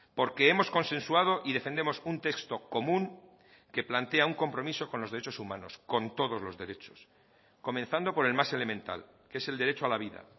porque hemos consensuado y defendemos un texto común que plantea un compromiso con los derechos humanos con todos los derechos comenzando por el más elemental que es el derecho a la vida